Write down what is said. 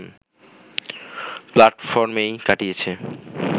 প্ল্যাটফর্মেই কাটিয়েছে